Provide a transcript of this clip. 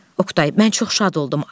Oqtay: Mən çox şad oldum.